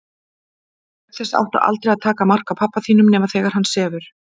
Auk þess áttu aldrei að taka mark á pabba þínum nema þegar hann sefur.